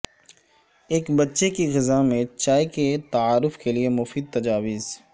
ایک بچے کی غذا میں چائے کے تعارف کے لئے مفید تجاویز